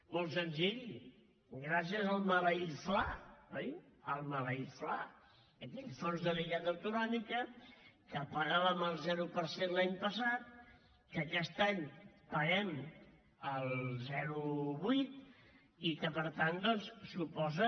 molt senzill gràcies al maleït fla oi el maleït fla aquell fons de liquiditat autonòmic que pagàvem el zero per cent l’any passat que aquest any paguem el zero coma vuit i que per tant doncs suposa